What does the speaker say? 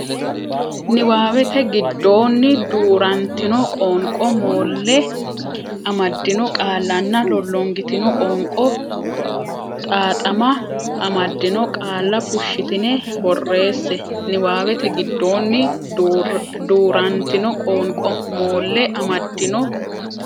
Niwaawete giddonni duu rantino qoonqo moolle amaddino qaallanna lollongitino qoonqo xaaxama amaddino qaalla fushshitine borreesse Niwaawete giddonni duu rantino qoonqo moolle amaddino.